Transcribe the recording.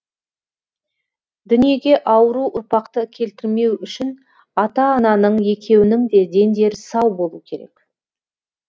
дүниеге ауру ұрпақты келтірмеу үшін ата ананың екеуінің де дендері сау болу керек